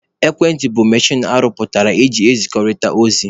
Ekwentị bụ mechin arụ pụtara eji ezikọrịta ozi.